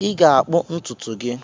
Ị ga-akpụ ntutu gị!